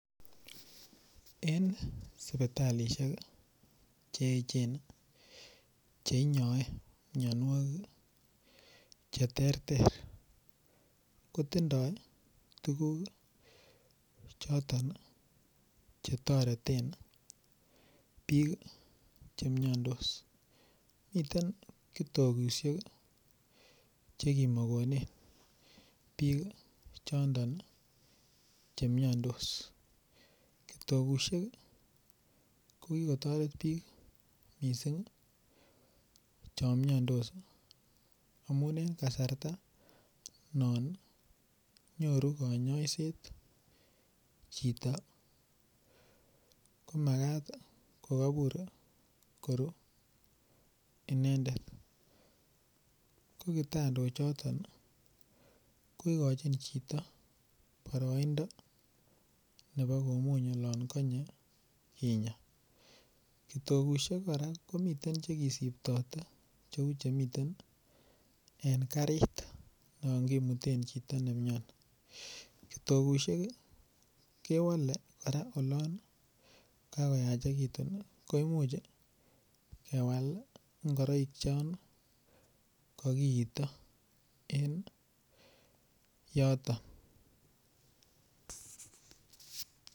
En sipitalishek cheechen cheinyoe mionuok cheterter kotindoi tuguk choton chetoreten bik chemiondos miten kitokushek chekimokonen bik choton chemiondos, kitokushek kokikotoret bik missing chon miondos amun en kasarta non nyoru konyoiset chito komakat kokobur koru inendet kokitondochoton kokochin chito boroindo nebo komuny olon konye kinyaa, kitokushek koraa komiten chekisiptote cheu chemiten en karit non kimuten chito nemioni, kitokushek kewole koraa olon kokoyachekitun koimuch kewal ingoroik chon kokiito en yoton.